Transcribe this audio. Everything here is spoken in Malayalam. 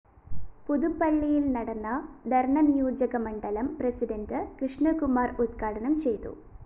പുതുപ്പള്ളിയില്‍ നടന്ന ധര്‍ണ നിയോജകമണ്ഡലം പ്രസിഡന്റ് കൃഷ്ണകുമാര്‍ ഉദ്ഘാടനം ചെയ്തു